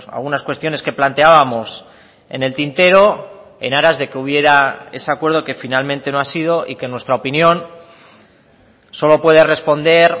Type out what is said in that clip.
algunas cuestiones que planteábamos en el tintero en aras de que hubiera ese acuerdo que finalmente no ha sido y que en nuestra opinión solo puede responder